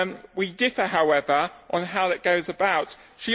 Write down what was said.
We differ, however, on how to go about it.